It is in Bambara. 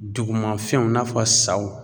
Dugumafɛnw i n'a fɔ saw